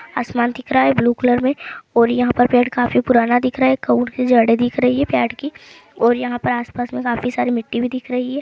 आसमान दिख रहा है ब्लू कलर में और यहां पर पेड़ काफी पुराना दिख रहा है जड़े दिख रही है पेड़ की और यहां पर आस-पास में काफी सारी मिट्टी भी दिख रही है।